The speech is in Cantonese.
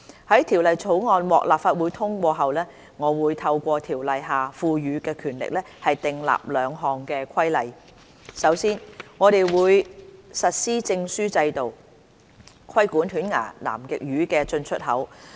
在《條例草案》獲立法會通過後，我會透過《條例》下賦予的權力，訂立兩項規例：首先，我們會實施證書制度，規管犬牙南極魚的進出口。